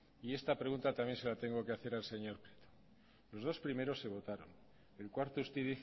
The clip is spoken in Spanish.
y esta pregunta también se la tengo que hacer también al señor prieto los dos primeros se votaron el cuarto usted dice